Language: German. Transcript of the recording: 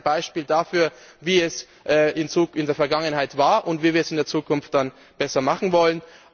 Das ist ein Beispiel dafür, wie es in der Vergangenheit war und wie wir es in der Zukunft dann besser machen wollen.